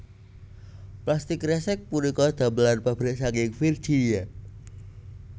Plastik kresek punika damelan pabrik saking Virginia